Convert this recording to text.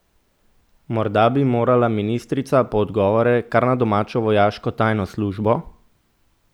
Morda bi morala ministrica po odgovore kar na domačo vojaško tajno službo?